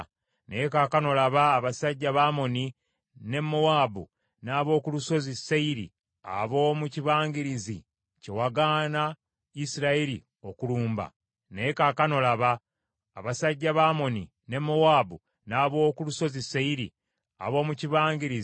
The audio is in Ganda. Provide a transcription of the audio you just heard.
“Naye kaakano laba, abasajja ba Amoni ne Mowaabu n’ab’oku Lusozi Seyiri, ab’omu kibangirizi kye wagaana Isirayiri okulumba bwe baava mu nsi y’e Misiri, era babeewala ne batagenda kubazikiriza,